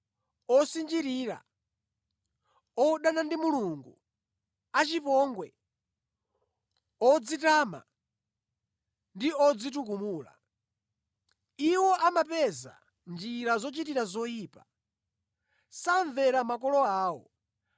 osinjirira, odana ndi Mulungu, achipongwe, odzitama ndi odzitukumula. Iwo amapeza njira zochitira zoyipa. Samvera makolo awo,